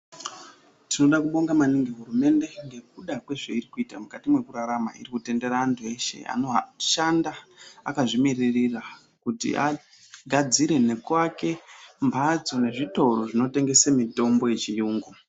Tinoda kubonga maningi hurumende ngekuda kwezvairi kuita mukati mwekurarama. Iri kutendera antu eshe anoshanda akazvimirira kuti agadzire nekuake mphatso nezvitoro zvinotengesa mitombo yechiyungu.